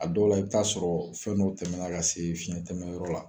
A dɔw la i bɛ ta sɔrɔ fɛn dɔ tɛmɛna ka se fiɲɛ tɛmɛ yɔrɔ la.